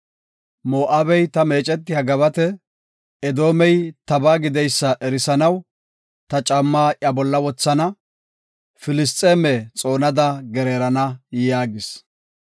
Moo7abey ta meecetiya gabate; Edoomey tabaa gideysa erisanaw ta caammaa iya bolla wothana. Filisxeeme xoonada gereerana” yaagis.